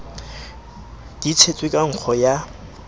di tshetswe ka nkgo ya